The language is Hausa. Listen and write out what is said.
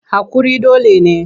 Haƙuri dole ne.